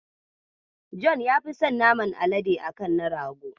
John ya fi son naman alade a kan na rago.